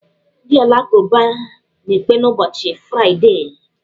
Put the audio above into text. Ndị alakụba na-ekpe n'ụbọchị fraịdee.